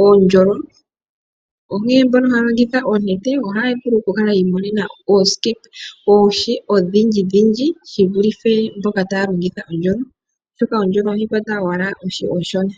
uundjolo, onkene mboka haya longitha oonete ohaya vulu yi imonena oohi odhindji shi vulithe mboka taya longitha uundjolo, oshoka uundjolo ohawu kwata owala oohi oonshona.